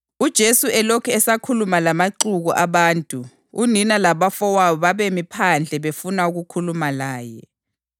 UJesu elokhu esakhuluma lamaxuku abantu, unina labafowabo babemi phandle befuna ukukhuluma laye.